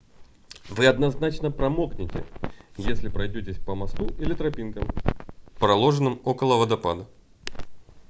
вы однозначно промокнёте если пройдётесь по мосту или тропинкам проложенным около водопада